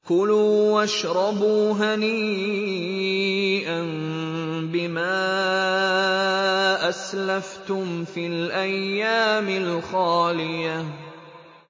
كُلُوا وَاشْرَبُوا هَنِيئًا بِمَا أَسْلَفْتُمْ فِي الْأَيَّامِ الْخَالِيَةِ